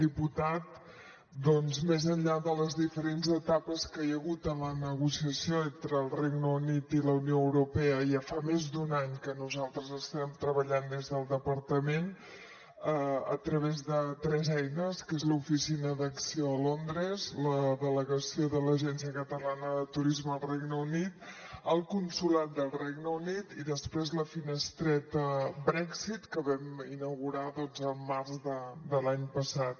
diputat doncs més enllà de les diferents etapes que hi ha hagut en la negociació entre el regne unit i la unió europea ja fa més d’un any que nosaltres estem treballant des del departament a través de tres eines que és l’oficina d’acció a londres la delegació de l’agència catalana de turisme al regne unit el consolat del regne unit i després la finestreta brexit que vam inaugurar el març de l’any passat